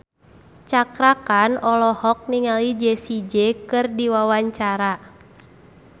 Cakra Khan olohok ningali Jessie J keur diwawancara